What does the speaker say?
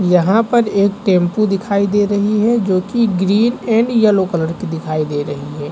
यहाँ पर एक टेंपू दिखाई दे रही है जोकि ग्रीन एण्ड यलो कलर की दिखाई दे रही हे ।